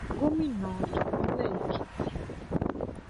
gómìnà ìpínlẹ èkìtì